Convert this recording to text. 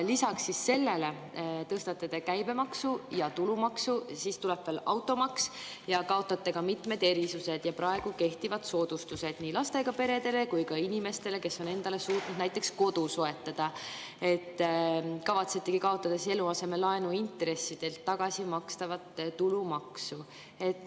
Lisaks sellele tõstate te käibemaksu ja tulumaksu, siis tuleb veel automaks, kaotate mitmed erisused ja praegu kehtivad soodustused nii lastega peredele kui ka inimestele, kes on endale suutnud näiteks kodu soetada, kavatsete kaotada eluasemelaenu intressidelt tagasimakstavat tulumaksu.